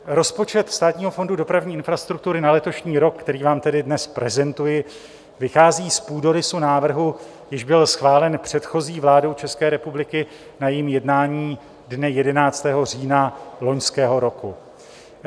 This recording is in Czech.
Rozpočet Státního fondu dopravní infrastruktury na letošní rok, který vám tady dnes prezentuji, vychází z půdorysu návrhu, jenž byl schválen předchozí vládou České republiky na jejím jednání dne 11. října loňského roku.